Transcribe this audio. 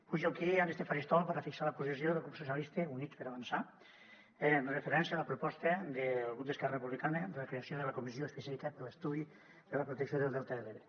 pujo aquí en este faristol per a fixar la posició del grup socialistes i units per avançar amb referència a la proposta del grup d’esquerra republicana de la creació de la comissió específica d’estudi de la protecció del delta de l’ebre